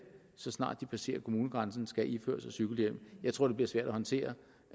så snart de passerer kommunegrænsen skal iføre sig cykelhjelm jeg tror det bliver svært at håndtere